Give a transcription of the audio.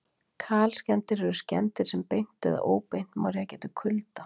kalskemmdir eru skemmdir sem beint eða óbeint má rekja til kulda